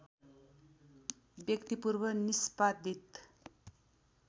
व्यक्ति पूर्व निष्पादित